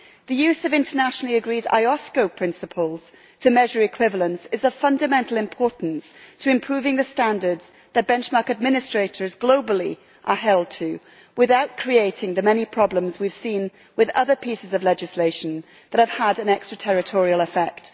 The use of internationally-agreed IOSCO principles to measure equivalence is of fundamental importance to improving the standards that benchmark administrators globally are held to, without creating the many problems we have seen with other pieces of legislation that have had an extra-territorial effect.